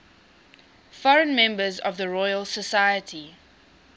foreign members of the royal society